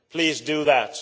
Please do that.